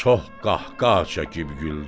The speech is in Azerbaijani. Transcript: Çox qəhqəhə çəkib güldü.